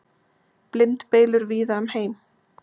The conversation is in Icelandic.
Blindbylur víða um heim